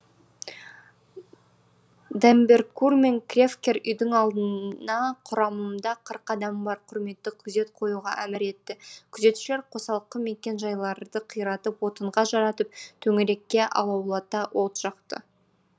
д эмберкур мен кревкер үйдің алдына құрамымда қырық адамы бар құрметті күзет қоюға әмір етті күзетшілер қосалқы мекен жайларды қиратып отынға жаратып төңірекке алаулата от жақты